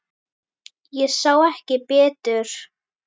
Ég sá ekki betur.